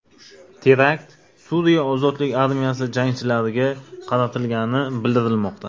Terakt Suriya ozodlik armiyasi jangchilariga qaratilgani bildirilmoqda.